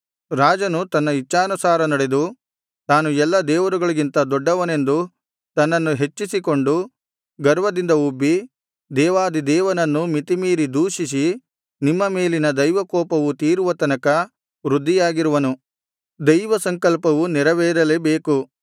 ರಾಜನು ತನ್ನ ಇಚ್ಛಾನುಸಾರ ನಡೆದು ತಾನು ಎಲ್ಲಾ ದೇವರುಗಳಿಗಿಂತ ದೊಡ್ಡವನೆಂದು ತನ್ನನ್ನು ಹೆಚ್ಚಿಸಿಕೊಂಡು ಗರ್ವದಿಂದ ಉಬ್ಬಿ ದೇವಾಧಿ ದೇವನನ್ನು ಮಿತಿಮೀರಿ ದೂಷಿಸಿ ನಿಮ್ಮ ಮೇಲಿನ ದೈವ ಕೋಪವು ತೀರುವ ತನಕ ವೃದ್ಧಿಯಾಗಿರುವನು ದೈವಸಂಕಲ್ಪವು ನೆರವೇರಲೇ ಬೇಕು